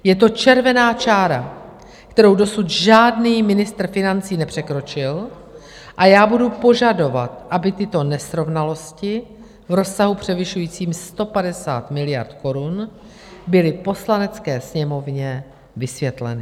Je to červená čára, kterou dosud žádný ministr financí nepřekročil, a já budu požadovat, aby tyto nesrovnalosti v rozsahu převyšujícím 150 miliard korun byly Poslanecké sněmovně vysvětleny.